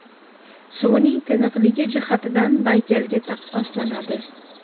Suvining tiniqligi jihatidan Baykalga taqqoslanadi.